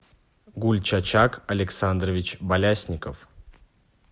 гульчачак александрович балясников